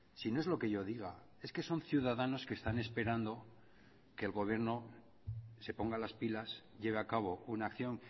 si no es lo que yo diga es que son ciudadanas que están esperando a que el gobierno se ponga las pilas lleve a cabo una acción